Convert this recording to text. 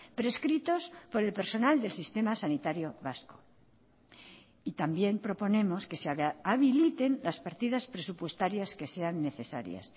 prescritos por el personal del sistema sanitario vasco y también proponemos que se habiliten las partidas presupuestarias que sean necesarias